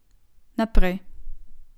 Naprej.